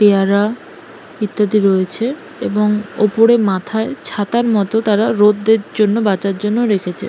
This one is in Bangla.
পেয়ারা ইত্যাদি রয়েছে এবং ওপরে মাথায় ছাতার মতো তারা রোদ্রের জন্য বাঁচার জন্য রেখেছে।